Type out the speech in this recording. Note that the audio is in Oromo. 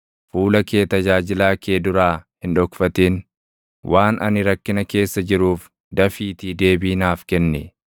Fuula kee tajaajilaa kee duraa hin dhokfatin; waan ani rakkina keessa jiruuf dafiitii deebii naaf kenni.